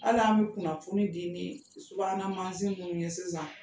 Ala an bɛ kunnafoni di ni subaganamansin ninnu ye sisan